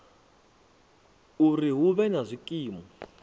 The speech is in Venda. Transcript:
uri hu vhe na zwikimu